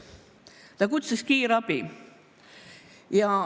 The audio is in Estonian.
Ta kutsus kiirabi.